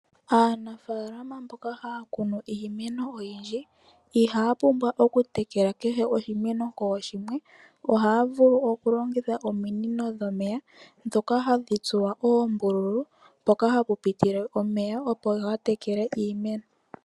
Aanafaalama mboka haa kunu iimeno oyindji, ihaa pumbwa okutekela kehe oshimeno kooshimwe. Ohaa vulu okulongitha ominino dhomeya ndhoka hadhi tsuwa oombululu mpoka hapu pitile omeya opo ga tekele iimeno.